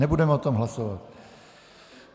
Nebudeme o tom hlasovat.